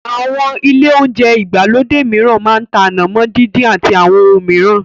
Àwọn ilé olounjẹ ìgbàlódé mìíràn máa ń tá ànàmọ́ díndín àti àwọn ohun mìíràn